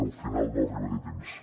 al final no arribaré a temps